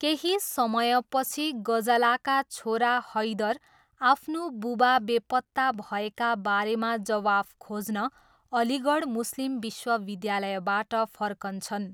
केही समयपछि, गजालाका छोरा हैदर आफ्नो बुबा बेपत्ता भएका बारेमा जवाफ खोज्न अलीगढ मुस्लिम विश्वविद्यालयबाट फर्कन्छन्।